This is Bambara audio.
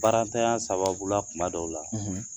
Baarantanya sababu la kuma dɔw la.